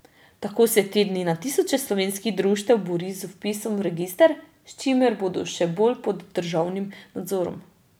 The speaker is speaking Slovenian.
Tako se te dni na tisoče slovenskih društev bori z vpisom v register, s čimer bodo še bolj pod državnim nadzorom.